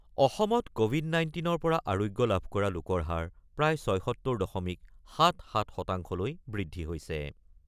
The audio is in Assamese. অসমত ক'ভিড ১৯ৰ পৰা আৰোগ্য লাভ কৰা লোকৰ হাৰ প্ৰায় ৭৬ দশমিক ৭-৭ শতাংশলৈ বৃদ্ধি হৈছে।